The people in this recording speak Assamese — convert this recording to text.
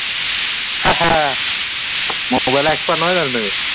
mobile expert নহয় জানো তুমি